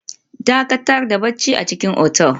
Dakatar da barci a cikin otel